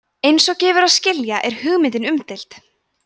eins og gefur að skilja er hugmyndin umdeild